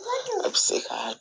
A bɛ se ka